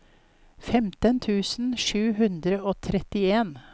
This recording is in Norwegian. femten tusen sju hundre og trettien